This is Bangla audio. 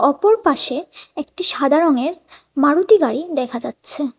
অপর পাশে একটি সাদা রঙের মারুতি গাড়ি দেখা যাচ্ছে।